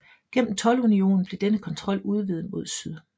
Gennem toldunionen blev denne kontrol udvidet mod syd